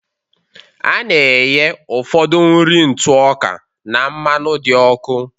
A na-ehee ụfọdụ nri ntụ ọka na mmanụ dị ọkụ